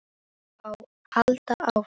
Halda áfram.